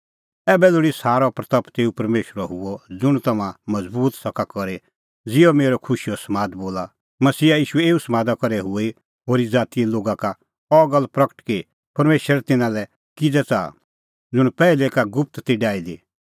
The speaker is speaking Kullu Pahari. ऐबै लोल़ी सारी महिमां तेऊ परमेशरे हुई ज़ुंण तम्हां मज़बूत सका करी ज़िहअ मेरअ खुशीओ समाद बोला मसीहा ईशूए एऊ समादा करै हुई होरी ज़ातीए लोगा का अह गल्ल प्रगट कि परमेशर तिन्नां लै किज़ै च़ाहा ज़ुंण पैहलै ई का गुप्त ती डाही दी